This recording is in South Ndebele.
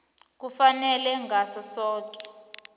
kufanele ngaso soke